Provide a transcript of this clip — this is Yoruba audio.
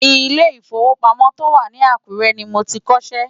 Ilé ìwòsàn tó wà ní Àkúrẹ́ ni mo ti kọ́ṣẹ́.